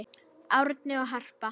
Árni og Harpa.